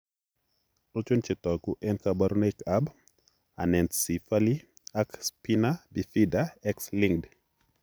Achon chetogu ak kaborunoik ab Anencephaly ak spina bifida X linked?